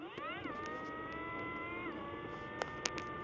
prokureurs advokate boekhouers